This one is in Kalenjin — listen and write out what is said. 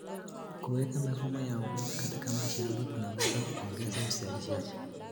Kuweka mifumo ya umeme katika mashamba kunaweza kuongeza uzalishaji.